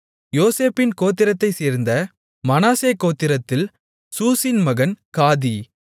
யோசேப்பின் கோத்திரத்தைச் சேர்ந்த மனாசே கோத்திரத்தில் சூசின் மகன் காதி